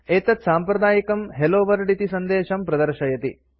एतत् साम्प्रदायिकं hello world इति सन्देशं प्रदर्शयति